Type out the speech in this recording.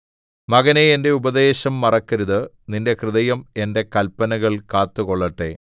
മകനേ എന്റെ ഉപദേശം മറക്കരുത് നിന്റെ ഹൃദയം എന്റെ കല്പനകൾ കാത്തുകൊള്ളട്ടെ